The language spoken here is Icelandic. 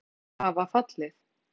Nokkrar minni skriður hafa fallið.